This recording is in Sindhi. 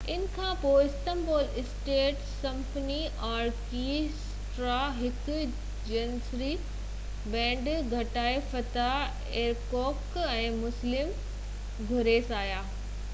ان کانپوءِ استنبول اسٽيٽ سمفني آرڪيسٽرا هڪ جنيسري بينڊ ۽ ڳائڻا فتح ايرڪوڪ ۽ مسلم گُرسيس آيا